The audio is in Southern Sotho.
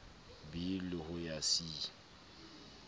b le ho ya c